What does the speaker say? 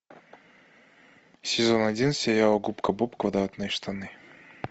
сезон один сериал губка боб квадратные штаны